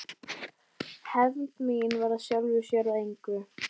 Hefnd mín varð af sjálfu sér að engu.